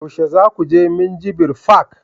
yaushe za ku je minjibir fak?